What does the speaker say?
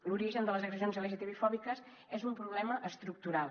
l’origen de les agressions lgtbi fòbiques és un problema estructural